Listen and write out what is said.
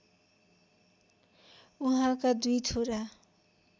उहाँका दुई छोरा